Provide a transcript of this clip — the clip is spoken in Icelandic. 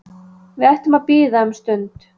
Við ættum að bíða um stund